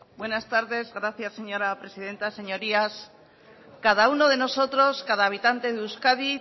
buenas tardes gracias señora presidenta señorías cada uno de nosotros cada habitante de euskadi